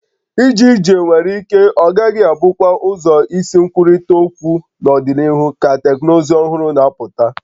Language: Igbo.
Ije ije nwere ike ọ gaghị abụkwa ụzọ isi nkwurịta okwu n'ọdịnihu ka teknụzụ ọhụrụ na-apụta